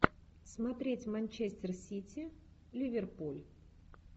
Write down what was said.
смотреть манчестер сити ливерпуль